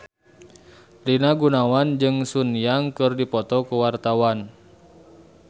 Rina Gunawan jeung Sun Yang keur dipoto ku wartawan